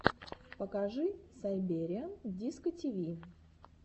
покажи сайбериан дискотиви